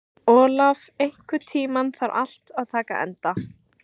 Olaf, einhvern tímann þarf allt að taka enda.